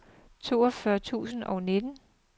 toogfyrre tusind og nitten